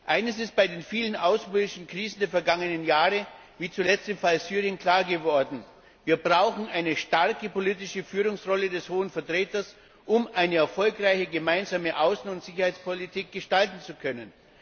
Eines ist bei den vielen außenpolitischen Krisen der vergangenen Jahre wie zuletzt im Fall Syrien klar geworden Wir brauchen eine klare politische Führungsrolle des Hohen Vertreters, um eine erfolgreiche gemeinsame Außen und Sicherheitspolitik gestalten zu können.